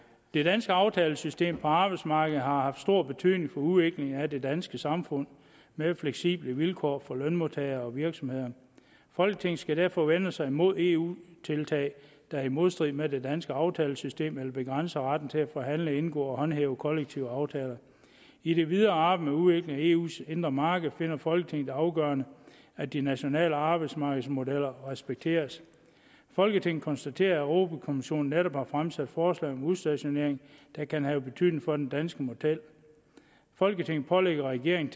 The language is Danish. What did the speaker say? det danske aftalesystem på arbejdsmarkedet har haft stor betydning for udviklingen af det danske samfund med fleksible vilkår for lønmodtagere og virksomheder folketinget skal derfor vende sig mod eu tiltag der er i modstrid med det danske aftalesystem eller begrænser retten til at forhandle indgå og håndhæve kollektive aftaler i det videre arbejde med udviklingen af eus indre marked finder folketinget det afgørende at de nationale arbejdsmarkeders modeller respekteres folketinget konstaterer at europa kommissionen netop har fremsat forslag om udstationering der kan have betydning for den danske model folketinget pålægger regeringen